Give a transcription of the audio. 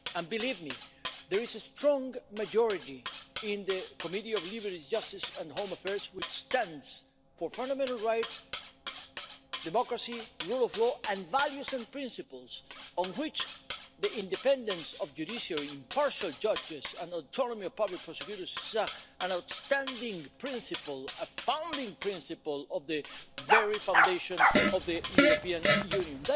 And believe me, there is a strong majority in the Committee on Civil Liberties, Justice and Home Affairs which stands for fundamental rights, democracy, rule of law, and values and principles, in which the independence of the judiciary, impartial judges and autonomy of public prosecutors are an outstanding principle a founding principle of the very foundation of the European Union.